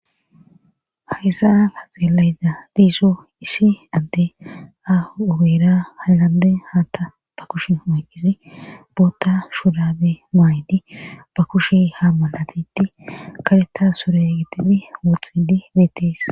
hayssaa ha xeelayda diiso isi adde a7obera halande haatta ba kushi moyqqisi boota shurabe maaydi ba kushi ha malatitti kaleta sore gitidi wooxxedi beetis